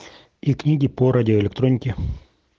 и книги по радиоэлектронике